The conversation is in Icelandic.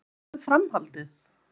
En hvað með framhaldið?